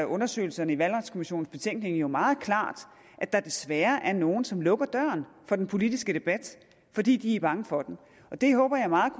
undersøgelserne i valgretskommissionens betænkning jo meget klart at der desværre er nogle som lukker døren for den politiske debat fordi de er bange for den det håber jeg meget